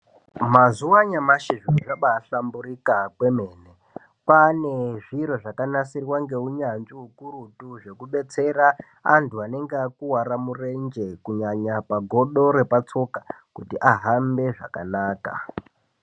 Mazuva anyamashi zviro zvabahlamburika kwemene, kwane zviro zvakanasirwa ngeunyanzvi ukurutu. Zvekubetsera antu anenge akuvara murenje kunyanya pagodo repatsoka kuti ahambe zvakanaka.